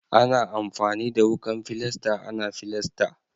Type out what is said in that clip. Ana amfani da wukan filasta ana filasta.